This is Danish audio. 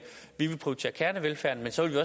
vi vil prioritere kernevelfærden men så vil